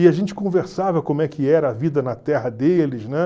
E a gente conversava como é que era a vida na terra deles, né?